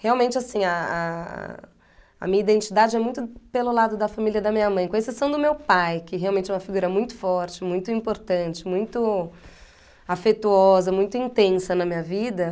Realmente, assim, a a a minha identidade é muito pelo lado da família da minha mãe, com exceção do meu pai, que realmente é uma figura muito forte, muito importante, muito afetuosa, muito intensa na minha vida.